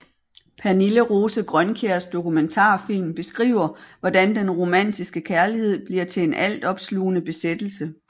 Pernille Rose Grønkjærs dokumentarfilm beskriver hvordan den romantiske kærlighed bliver til en altopslugende besættelse